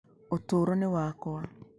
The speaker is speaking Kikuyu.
Ũtũũro nĩ wakwa.